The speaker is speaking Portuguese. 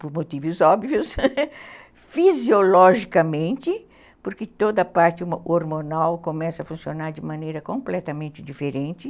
por motivos óbvios, fisiologicamente, porque toda a parte hormonal começa a funcionar de maneira completamente diferente.